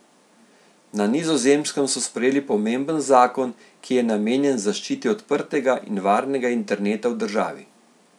Na Nizozemskem so sprejeli pomemben zakon, ki je namenjen zaščiti odprtega in varnega interneta v državi.